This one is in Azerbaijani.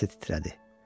Onun səsi titrədi.